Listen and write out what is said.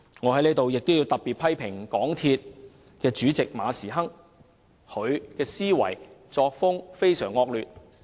我在此要特別批評港鐵公司主席馬時亨，他的思維和作風非常惡劣。